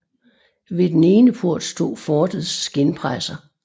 Ved den ene port stod fortets skindpresser